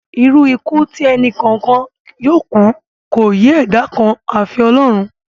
Irú ikú tí ẹni kọ̀ọ̀kan yóò kú ni kò yé ẹ̀dá kan àfi Ọlọ́run